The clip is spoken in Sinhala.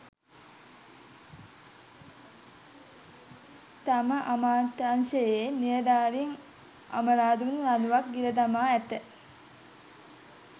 තම අමාත්‍යාංශයේ නිළධාරින් අඹරාදුන් ලනුවක් ගිලදමා ඇත